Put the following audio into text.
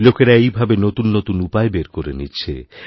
লোকেরা এভাবেইনতুন নতুন উপায় বের করে নিচ্ছে